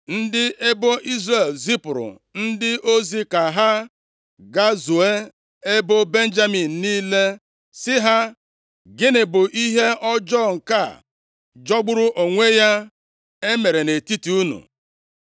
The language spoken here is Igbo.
Ndị ebo Izrel zipụrụ ndị ozi ka ha gazuo ebo Benjamin niile, sị ha, “Gịnị bụ ihe ọjọọ nke a jọgburu onwe ya emere nʼetiti unu?